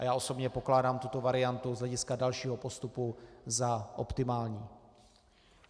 A já osobně pokládám tuto variantu z hlediska dalšího postupu za optimální.